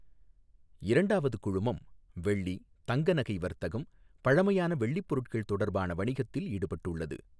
இரண்டாவது குழுமம், வௌ்ளி, தங்க நகை வர்த்தகம், பழமையான வௌ்ளிப் பொருட்கள் தொடர்பான வணிகத்தில் ஈடுபட்டுள்ளது.